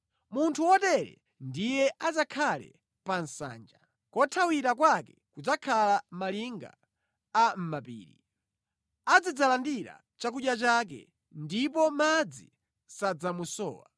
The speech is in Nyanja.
Munthu wotere ndiye adzakhale pa nsanja, kothawira kwake kudzakhala mʼmalinga a mʼmapiri. Azidzalandira chakudya chake ndipo madzi sadzamusowa.